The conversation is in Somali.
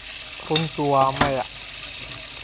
runtu waa maya.